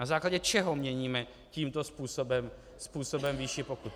Na základě čeho měníme tímto způsobem výši pokut?